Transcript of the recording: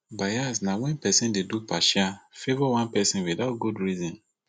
bias na wen pesin dey do partial favour one pesin without good reason